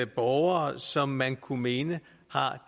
borgere som man kunne mene har